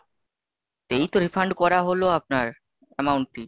এই তো refund করা হলো আপনার amount টি।